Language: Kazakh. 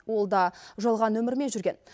ол да жалған нөмірмен жүрген